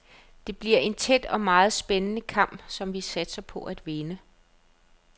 Det bliver en tæt og meget spændende kamp, som vi satser på at vinde.